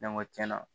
Ne ko tiɲɛna